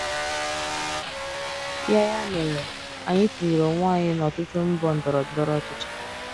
Ya Ya mere, anyị tinyere onwe anyị n’ọtụtụ mbọ ndọrọ ndọrọ ọchịchị.